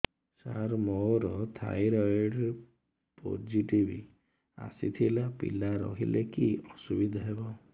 ସାର ମୋର thyroid positive ଆସିଥିଲା ପିଲା ରହିଲେ କି ଅସୁବିଧା ହେବ